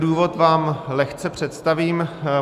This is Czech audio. Důvod vám lehce představím.